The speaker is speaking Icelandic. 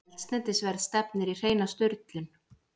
Eldsneytisverð stefnir í hreina sturlun